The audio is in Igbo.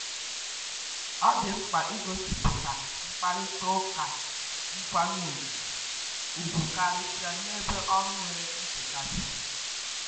Ọ dị mkpa igosipụta mkparịta ụka nkwanye ùgwù, ùgwù, karịsịa n’ebe ọrụ nwere nchekasị.